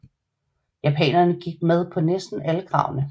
Japanerne gik med på næsten alle kravene